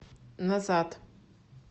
назад